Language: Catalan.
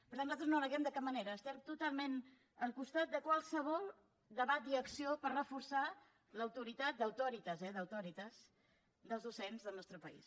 per tant nosaltres no ho neguem de cap manera estem totalment al costat de qualsevol debat i acció per reforçar l’autoritat d’auctoritas eh d’auctoritas dels docents del nostre país